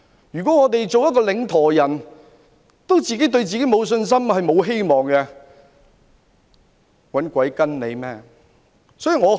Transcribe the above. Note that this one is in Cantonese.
如果領舵人對自己也沒有信心及希望，誰會願意跟從？